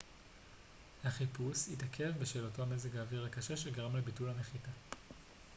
החיפוש התעכב בשל אותו מזג האוויר קשה שגרם לביטול הנחיתה